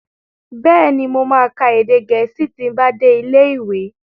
Bẹ́ẹ̀ni, mo ma ka èdè Gẹ̀ẹ́sì ti n bá dé ilé ìwé